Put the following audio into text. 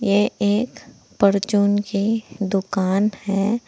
ये एक परचून की दुकान है।